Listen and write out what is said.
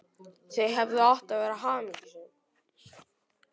Þau hefðu átt að vera hamingjusöm.